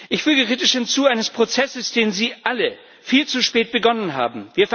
Ich füge kritisch hinzu eines Prozesses, den Sie alle viel zu spät begonnen haben.